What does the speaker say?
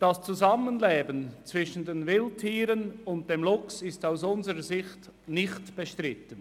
Das Zusammenleben mit den Wildtieren und dem Luchs ist aus unserer Sicht nicht bestritten.